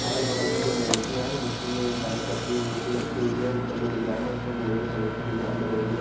अगल बगल में दो मुर्तिया है मूर्ति में एक डांस करती हुई मूर्ति रखी हुई है उपर जो डिजाइन है उसपे गोल्डन कलर की डिजाइन बनी हुई है।